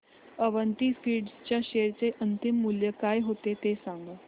Avanti Feeds च्या share चे अंतिम मूल्य काय होते ते सांगा